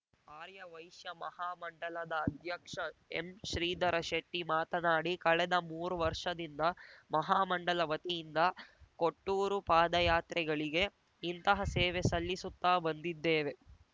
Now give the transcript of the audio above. ಆರ್ಯ ವೈಶ್ಯ ಮಹಾ ಮಂಡಲದ ಅಧ್ಯಕ್ಷ ಎಂಶ್ರೀಧರ ಶೆಟ್ಟಿಮಾತನಾಡಿ ಕಳೆದ ಮೂರು ವರ್ಷದಿಂದ ಮಹಾ ಮಂಡಲ ವತಿಯಿಂದ ಕೊಟ್ಟೂರು ಪಾದಯಾತ್ರೆಗಳಿಗೆ ಇಂತಹ ಸೇವೆ ಸಲ್ಲಿಸುತ್ತಾ ಬಂದಿದ್ದೇವೆ